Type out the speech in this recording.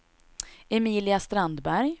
Emilia Strandberg